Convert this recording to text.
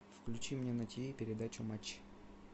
включи мне на тв передачу матч